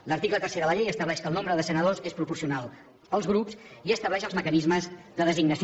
l’article tercer de la llei estableix que el nombre de senadors és proporcional als grups i estableix els mecanismes de designació